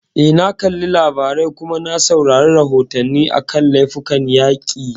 Eh, na kalli labarai, kuma na saurari rahoton a kan laifukan yaƙi